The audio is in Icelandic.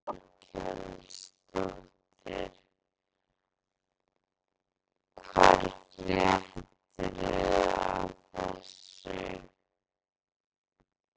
Þórhildur Þorkelsdóttir: Hvar fréttuð þið af þessu?